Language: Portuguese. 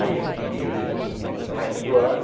Aí, eu fiquei o resto do ano.